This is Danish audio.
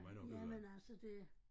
Jamen altså det